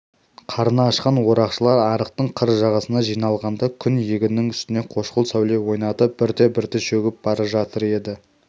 қарны ашқан орақшылар арықтың қыр жағасына жиналғанда күн егіннің үстіне қошқыл сәуле ойнатып бірте-бірте шөгіп бара жатыр еді